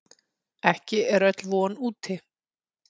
Ekki er öll von úti.